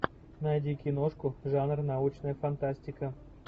найди киношку жанр научная фантастика